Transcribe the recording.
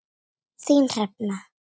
Þín Hrefna.